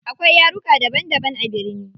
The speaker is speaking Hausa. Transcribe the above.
Akwai yaruka daban daban a birni.